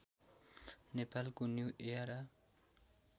नेपालको new era